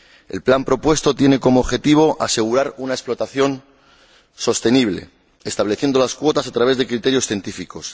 El plan propuesto tiene como objetivo asegurar una explotación sostenible, estableciendo las cuotas a través de criterios científicos.